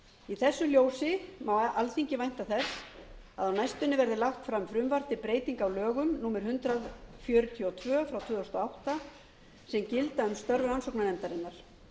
í þessu ljósi má alþingi vænta þess að á næstunni verði lagt fram frumvarp til breytinga á lögum númer hundrað fjörutíu og tvö tvö þúsund og átta sem gilda um störf rannsóknarnefndarinnar